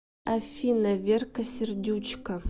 афина верка сердючка